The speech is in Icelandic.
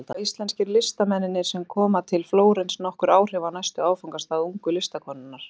Líklega hafa íslensku listamennirnir sem koma til Flórens nokkur áhrif á næsta áfangastað ungu listakonunnar.